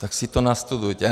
Tak si to nastudujete.